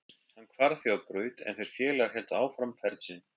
Hann hvarf því á braut en þeir félagar héldu áfram ferð sinni.